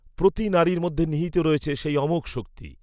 প্রতি নারীর মধ্যে নিহিত রয়েছে, সেই অমোঘ, শক্তি